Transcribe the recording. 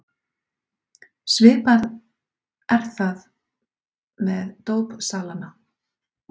Svipað er það með dópsalana.